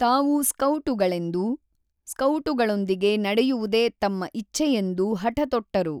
ತಾವೂ ಸ್ಕೌಟುಗಳೆಂದೂ ಸ್ಕೌಟುಗಳೊಂದಿಗೆ ನಡೆಯುವುದೇ ತಮ್ಮ ಇಚ್ಛೆಯೆಂದೂ ಹಠತೊಟ್ಟರು.